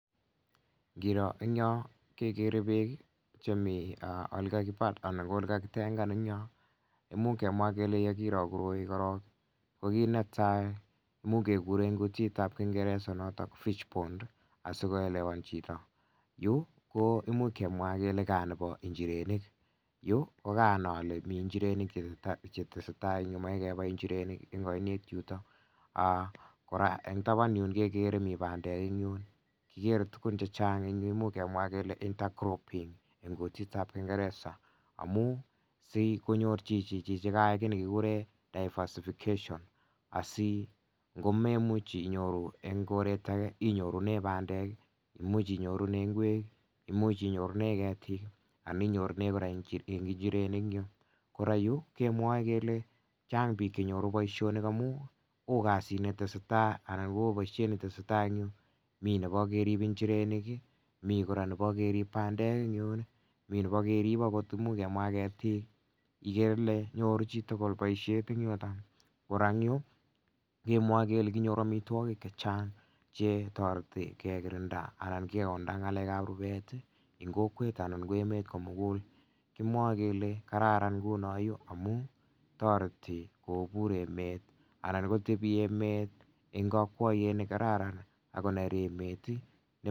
Ngiro eng yo kekere beek chemi ole kakipal anan olekakitengan eng yo imuch kemwaa kele yekiro koroi korok ko kit netai much kekure eng kutit ab kingeresa noto fishpond asikoelewan chito yu koimuch kemwa kele kaa nebo njirenik yu kokanai ale mi njirenik chetesei tai eng yu komochei kebai njirenik eng onet yuto kora eng taban yun kekere kele mi bandek kikere tukun chechang che much kemwa kele intercropping eng kutit ab kingereza amun sikonyur chichi chi nekayai kit nekikuree diversification asi ngomemuch inyoru eng koret ake inyorune bandek imuch inyorune ngwek imuch inyorune ketik anan inyorune kora njirenik kora yu kemwoe kele Chang piik chenyoru boishonii amun oo kasit netesei tai ana Koo boishet netesei tai eng yu mi nebo kerib njirenik mi kora nebo kerib bandek mi nebo kerip akot ketik ikere Ile nyoru chitugul bishet eng yoto kora eng yu kemwoe kele kinyoru omitwokik chechang chetoreti kekirinda anan keonda ngalek ab rubet eng kokwet anan ko emet komugul komwoe kele kararan nguni yu amun toreti kopur emet anan kotebi emet eng okwoyet nekararan